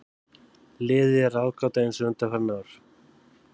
Liðið er ráðgáta eins og undanfarin ár.